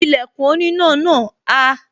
Ìlẹ̀kùn oníná náà há